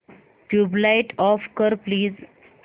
tubelight off कर please